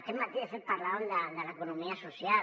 aquest matí de fet parlàvem de l’economia social